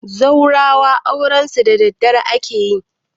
zaurawa aurensu daddare ake yi